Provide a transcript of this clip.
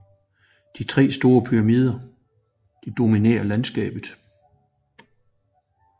De tre store pyramider dominerer landskabet